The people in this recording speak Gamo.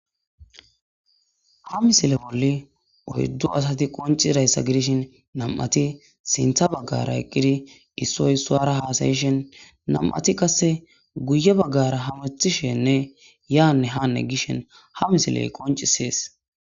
Ha misile bolli oyddu asati qoncirayssa gidishin nam'ati sintha baggara eqqidi issoy suara haasayishen nam'ati qasse guye baggara hamethishenne yaanne haanne gishen ha misiley qoncisees..